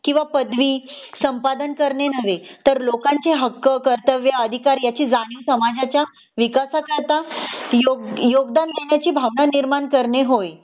किंवा पदवी संपादन करणे नव्हे तर लोकांचे हक्क कर्तव्य अधिकार याची जाणीव समाजाच्या विकासात आता योग योगदान देण्याची भावना निर्माण करणे होय